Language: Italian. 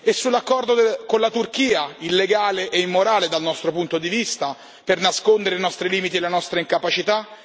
E che dire dell'accordo con la Turchia, illegale e immorale dal nostro punto di vista, per nascondere i nostri limiti e la nostra incapacità?